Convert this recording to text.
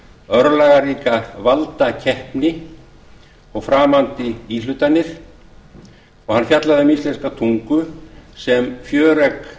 örlagaríka valdakeppni og framandi íhlutanir og hann fjallaði um íslenska tungu sem fjöregg